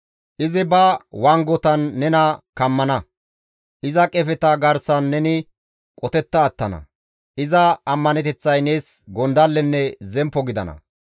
Izi ba wangotan nena kammana; iza qefeta garsan neni qotetta attana; iza ammaneteththay nees gondallenne zemppo gidana.